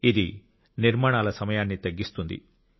ఇది నిర్మాణాల సమయాన్ని తగ్గిస్తుంది